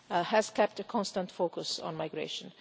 has kept a constant focus on migration.